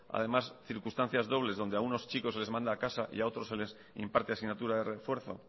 circunstancias dobles donde a algunos chicos se les manda a casa y a otros se les imparte asignatura de refuerzo